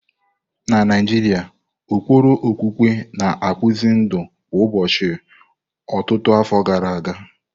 Na Naijiria, ụkpụrụ okpukpe na-akpụzi ndụ kwa ụbọchị ọtụtụ afọ gara aga.